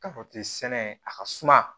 K'a fɔ ten sɛnɛ a ka suma